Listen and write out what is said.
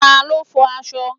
Ta ló fo aṣọ?